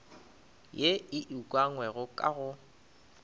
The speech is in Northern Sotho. ye e ukangwego ka go